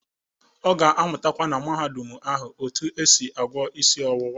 Ọ ga-amụtakwa na Mahadum ahụ otu esi agwọ isi owuwa.